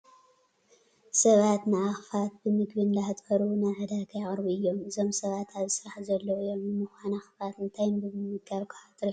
ሰባት ንኣኻፍት ብምግቢ እንዳህጠሩ ናብ ዕዳጋ የቕርቡ እዮም፡፡ እዞም ሰባት ኣብዚ ስራሕ ዘለዉ እዮም፡፡ ንምዃነ ኣኻፍት እንታይ ብምምጋብ ክሃጥሩ ይኽእሉ?